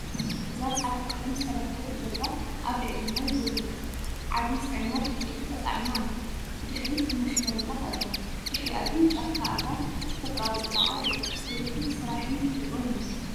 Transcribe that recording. እዚ ጻዕዳ ቀለም ዝተለኽየት ጃልባ ኣብ ልዕሊ ማይ ደው ኢላ፡ ዓቢ ጽዕነት ዕንጨይቲ ተጻዒና ኣላ። ብድሕሪት ማሽነሪታት ኣለዋ፡ ብድሕሪኣ ግን ጫካ ኣግራብ፡ ተፈጥሮኣዊ ጽባቐ እያ። ምልክት ስራሕን ተፈጥሮን'ዩ።